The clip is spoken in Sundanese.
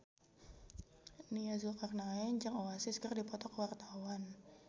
Nia Zulkarnaen jeung Oasis keur dipoto ku wartawan